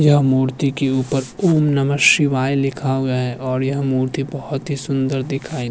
यह मूर्ति के ऊपर ॐ नमः शिवाय लिखा हुआ है और यह मूर्ति बहुत ही सुन्दर दिखाई --